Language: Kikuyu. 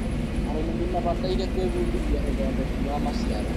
arĩmi nĩ mabataire gũĩbudithia ũthindĩki wa maciaro